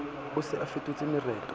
o se a fetotse mereto